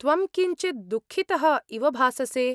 त्वं किञ्चित् दुःखितः इव भाससे।